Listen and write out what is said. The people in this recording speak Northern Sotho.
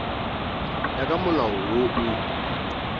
ya ka molao wo o